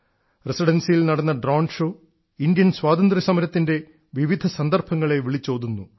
റസിഡൻസിയിൽ നടന്ന drone show Indian സ്വാതന്ത്ര്യസമരത്തിൻറെ വിവിധ സന്ദർഭങ്ങളെ വിളിച്ചോതുന്നു